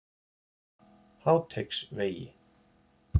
Háteigsvegi